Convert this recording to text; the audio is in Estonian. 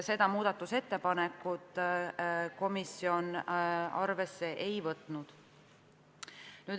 Seda muudatusettepanekut komisjon arvesse ei võtnud.